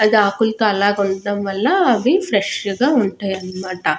అది ఆకులతో అలాగుంటడం వల్ల అవి ఫ్రెష్ గా ఉంటాయి అన్నమాట.